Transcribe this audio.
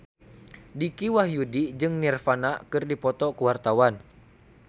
Dicky Wahyudi jeung Nirvana keur dipoto ku wartawan